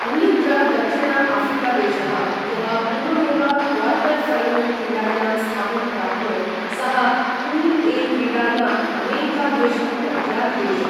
अन्यत्र दक्षिण आऴ्रिकादेशः, यः पूर्वमेव क्वार्टर् ऴैनल् क्रीडायां स्थानं प्राप्नोत्, सः पूल् ए क्रीडायाम् अमेरिका देशं प्रत्यादिदेश।